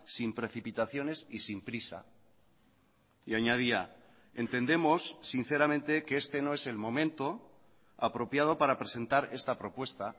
sin precipitaciones y sin prisa y añadía entendemos sinceramente que este no es el momento apropiado para presentar esta propuesta